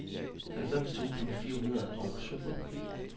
halvfems tusind fire hundrede og sytten